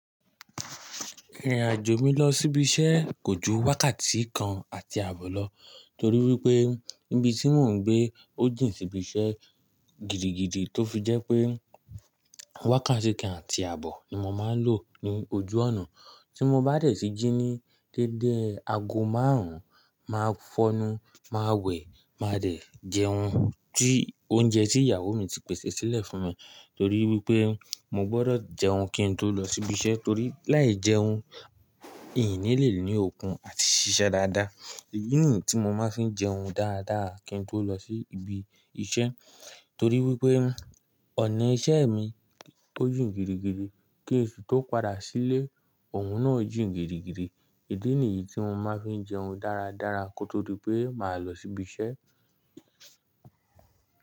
Ìrìn-àjò mi lọ sí ibi iṣẹ́ kò ju wákàtí kan àti àbọ̀ lọ, torí wípé níbi tí mò ń gbé ó jìn síbi iṣẹ́ gidigidi, tó fi jẹ́ pé wákàtí kan àti àbọ̀ ni mo máa ń lò ní ojú ọ̀nà. Tí mo bá dẹ̀ sí jí ní dédé aago márùn-ún, màá fọ́nu, màá wẹ̀, màá dẹ̀ jẹun, tí oúnjẹ tí ìyàwó mi ti pèsè sílẹ̀ fún mi, torí wípé mo gbọ́dọ̀ jẹun kí n tó lọ sí ibi iṣẹ́, torí láìjẹun, Hín ní lè ní okun àti ṣiṣẹ́ dáadáa. Èyí nìyí tí mo máa ń fi jẹun dáadáa kí n tó lọ sí ibi iṣẹ́, torí wípé ọ̀nà iṣẹ́ mi ó jìn gidigidi, kín sì tó padà sílé, òhún náà jìn gidigidi. Idí nìyí tí mo máa ń fi jẹun dáradára kó tó di pé màá lọ sí ibi iṣẹ́.